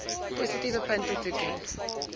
positiewe punte toeken